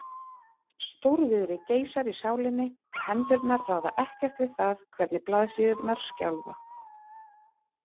Stórviðri geisar í sálinni og hendurnar ráða ekkert við það hvernig blaðsíðurnar skjálfa.